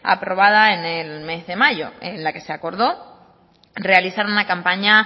aprobada en el mes de mayo en la que se acordó realizar una campaña